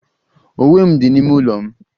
Uwe m dị n'ime ụlọ m.